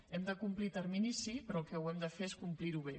hem de complir terminis sí però el que hem de fer és complir ho bé